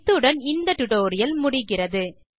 இத்துடன் இந்த KTouch tutorial முடிகிறது